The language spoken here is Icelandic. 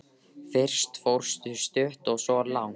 Fyrst fórstu stutt og svo langt.